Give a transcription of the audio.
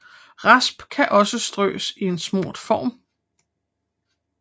Rasp kan også strøs i en smurt form